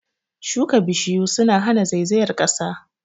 Shuka Bishiyu suna hana zaizayar ƙasa